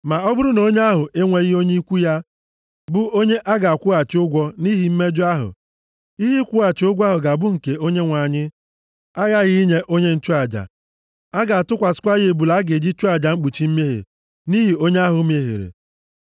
Ma ọ bụrụ na onye ahụ enweghị onye ikwu ya bụ onye a ga-akwụghachi ụgwọ nʼihi mejọọ ahụ, ihe ịkwụghachi ụgwọ ahụ ga-abụ nke Onyenwe anyị, aghaghị inye onye nchụaja. A ga-atụkwasịkwa ya ebule a ga-eji chụọ aja mkpuchi mmehie nʼihi onye ahụ mehiere.